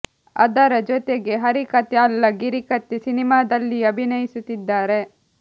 ಅದರ ಜೊತೆಗೆ ಹರಿ ಕಥೆ ಅಲ್ಲ ಗಿರಿ ಕಥೆ ಸಿನಿಮಾದಲ್ಲಿಯೂ ಅಭಿನಯಿಸುತ್ತಿದ್ದಾರೆ